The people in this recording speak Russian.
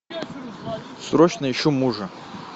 срочно ищу мужа